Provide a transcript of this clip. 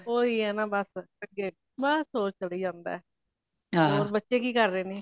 ਓਹੀ ਹੈਨਾ ਬਸ ਅਗੇ ਬਸ ਹੋਰ ਚਲੀ ਜਾਂਦਾ ਹੋਰ ਬੱਚੇ ਕਿ ਕਰ ਰਹੇ ਨੇ